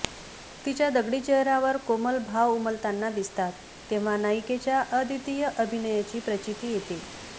तिच्या दगडी चेहऱ्यावर कोमल भाव उमलताना दिसतात तेंव्हा नायिकेच्या अद्वितीय अभिनयाची प्रचीती येते